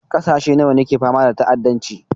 Ƙasashe nawa ne ke fama da ta'addanci?